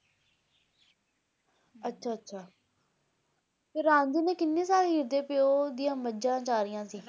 ਅੱਛਾ ਅੱਛਾ ਤੇ ਰਾਂਝੇ ਨੇ ਕਿੰਨੇ ਸਾਲ ਓਹਦੇ ਪਿਓ ਦੀ ਮੱਝਾਂ ਚਰਾਈਆਂ ਸੀ